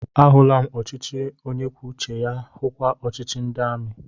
Ahụla m ọchịchị onye kwuo uche ya, hukwa ọchịchị ndị amị